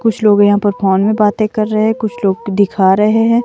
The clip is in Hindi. कुछ लोग यहां पर फोन में बातें कर रहे कुछ लोग दिखा रहे हैं।